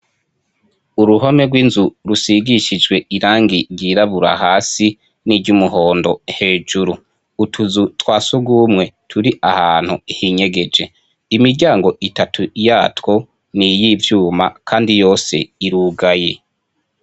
Uruhome rw’inzu rusigishijwe irangi ryirabura hasi n’iryo umuhondo hejuru. Utuzu twa sogumwe turi ahantu hinyegeje. Imiryango itatu yatwo ni iy’ivyuma kandi yose irugaye.